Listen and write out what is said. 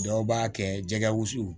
Dɔw b'a kɛ jɛgɛwusu